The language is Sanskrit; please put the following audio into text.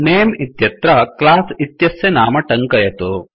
नमे इत्यत्र क्लास इत्यस्य नाम टङ्कयतु